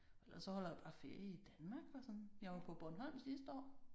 Ellers så holder jeg jo bare ferie i Danmark og sådan. Jeg var på Bornholm sidste år